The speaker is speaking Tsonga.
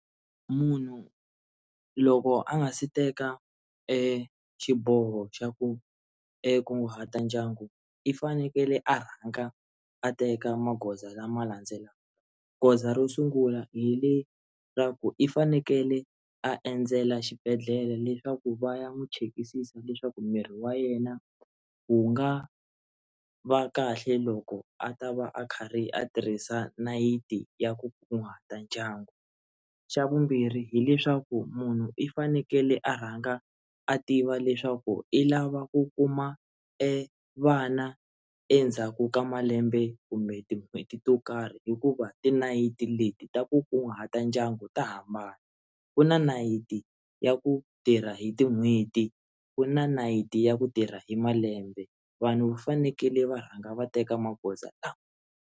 Munhu loko a nga si teka exiboho xa ku kunguhata ndyangu i fanekele a rhanga a teka magoza lama landzelaka goza ro sungula hi le ra ku i fanekele a endzela xibedhlele leswaku va ya n'wi chekisisa leswaku miri wa yena wu nga va kahle loko a ta va a karhi a tirhisa nayiti ya ku kunguhata ndyangu, xa vumbirhi hileswaku munhu i fanekele a rhanga a tiva leswaku i lava ku kuma evana endzhaku ka malembe kumbe tin'hweti to karhi hikuva ti nayiti leti ta ku kunguhata ndyangu ta hambana ku na nayiti ya ku tirha hi tin'hweti ku na nayiti ya ku tirha hi malembe vanhu fanekele va rhanga va teka magoza lama.